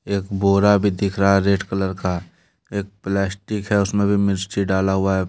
एक बोरा भी दिख रहा है रेड कलर का एक प्लास्टिक है उसमें भी मिर्ची डाला हुआ है।